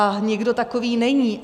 A nikdo takový není.